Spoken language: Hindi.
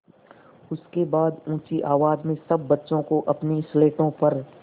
उसके बाद ऊँची आवाज़ में सब बच्चों को अपनी स्लेटों पर